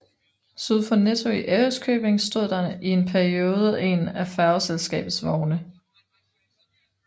Syd for Netto i Ærøskøbing stod der i en periode en af færgeselskabets vogne